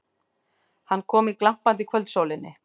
Hann kom í glampandi kvöldsólinni.